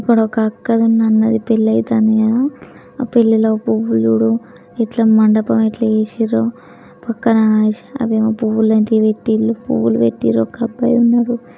ఇక్కడ ఒక అక్కది ఉన్న అన్నది పెళ్లయితంది కదాఆ పెళ్లిలో పువ్వులు జూడు ఇట్లా మండపం ఎట్లా చేసిండ్రో పక్కన అవేమో పువ్వు లాంటియి పెట్టిండ్రు పువ్వులు పెట్టిండ్రు ఒక అబ్బాయి ఉన్నాడు.